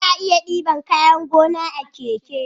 Ana iya diban kayan gona a keke